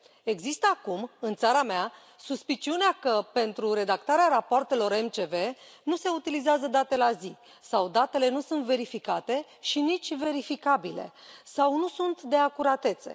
Există acum, în țara mea, suspiciunea că, pentru redactarea rapoartelor MCV, nu se utilizează date la zi sau datele nu sunt verificate și nici verificabile sau nu sunt de acuratețe.